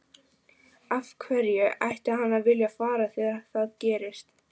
Af hverju ætti hann að vilja fara þegar það gerist?